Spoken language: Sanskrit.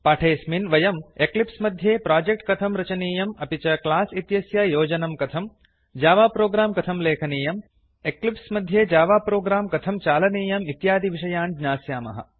पाठेऽस्मिन् वयं एक्लिप्स मध्ये प्रोजेक्ट कथं रचनीयं अपि च क्लास् इत्यस्य योजनं कथम् जावा प्रोग्राम् कथं लेखनीयम् एक्लिप्स् मध्ये जावा प्रोग्राम् कथं चालनीयम् इत्यादिविषयान् ज्ञास्यामः